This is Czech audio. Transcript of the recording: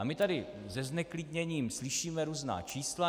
A my tady se zneklidněním slyšíme různá čísla.